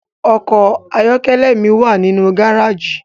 Ọkọ ayọkẹlẹ mi wa ninu gareji